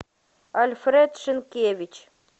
альфред шинкевич